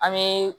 An bɛ